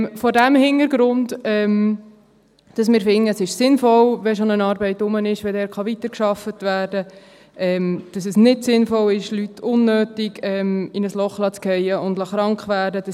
Vor diesem Hintergrund – weil wir finden, es sei sinnvoll, wenn schon eine Arbeit da ist, dass dort weitergearbeitet werden kann, da es nicht sinnvoll ist, Leute unnötig in ein Loch fallen und krank werden zu lassen;